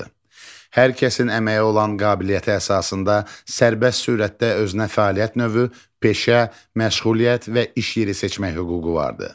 Hər kəsin əməyə olan qabiliyyəti əsasında sərbəst surətdə özünə fəaliyyət növü, peşə, məşğuliyyət və iş yeri seçmək hüququ vardır.